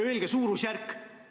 Öelge suurusjärk!